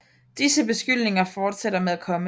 Disse beskyldninger fortsætter med at komme